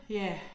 Ja